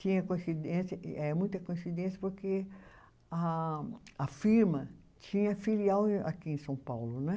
Tinha coincidência, é muita coincidência porque a a firma tinha filial aqui em São Paulo, né?